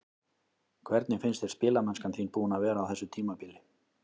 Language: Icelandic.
Hvernig finnst þér spilamennskan þín búin að vera á þessu tímabili?